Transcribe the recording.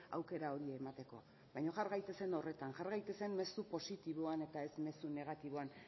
aukera hori emateko baina jar gaitezen horretan jar gaitezen mezu positiboan eta ez mezu negatiboan